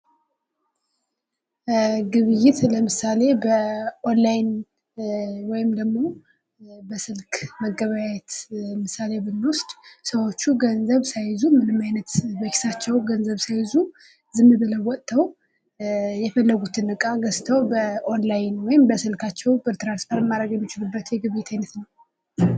ግብይት ለምሳሌ ኦንላይን ወይም ደግሞ በስልክ መገበያዬት ለምሳሌ ብንወስድ ገንዘብ ሳይዙ ምንም አይነት በኪሳቸው ገንዘብ ሳይዙ ዝም ብለው ወጠው የፈለጉትን እቃ ገዝተው በኦንላይን ወይም በስላካቸው ትራንስፈር ማድረግ የሚችሉበት የግብይት አይነት ነው።